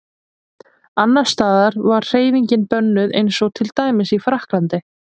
Annars staðar var hreyfingin bönnuð eins og til dæmis í Frakklandi.